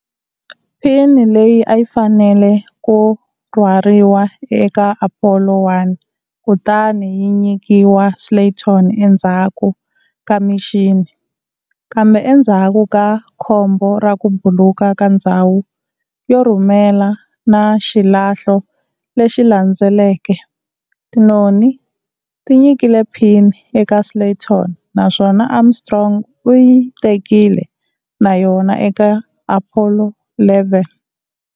Pini leyi ayi fanele ku rhwariwe eka Apollo 1 kutani yi nyikiwa Slayton endzhaku ka mission, kambe endzhaku ka khombo ra ku buluka ka ndzhawu yo rhumela na xilahlo lexi landzeleke, tinoni ti nyikile pin eka Slayton naswona Armstrong u yi tekile na yona eka Apollo 11.